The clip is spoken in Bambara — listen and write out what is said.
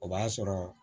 O b'a sɔrɔ